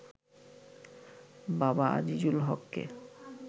বাবা আজিজুল হককে